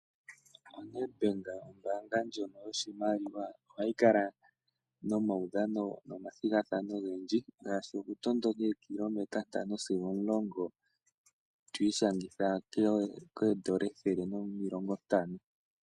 ONedbank ombaanga ndjono yoshimaliwa ohayi kala momaudhano nomathigathano ogendji ngaashi okutondoka ookilometa ntano sigo omulongo . Otwiishangitha N$150.